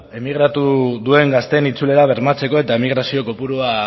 emigratu duen gazteen itzulera bermatzeko eta emigrazio kopurua